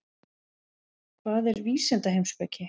Hvað er vísindaheimspeki?